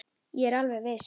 Ég er alveg viss.